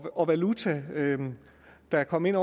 og valuta der kom ind